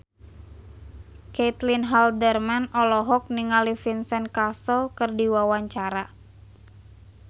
Caitlin Halderman olohok ningali Vincent Cassel keur diwawancara